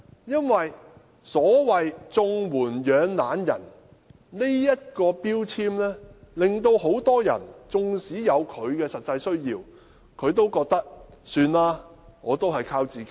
因為所謂"綜援養懶人"的標籤令很多人即使有實際需要，也寧願靠自己。